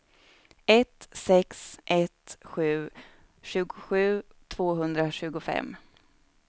ett sex ett sju tjugosju tvåhundratjugofem